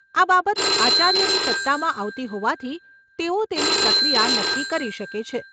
આ બાબત આચાર્યની સત્તામાં આવતી હોવાથી તેઓ તેની પ્રક્રિયા નક્કી કરી શકે છે.